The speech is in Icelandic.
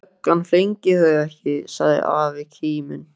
Ætli löggan flengi þau ekki! sagði afi kíminn.